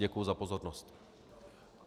Děkuji za pozornost.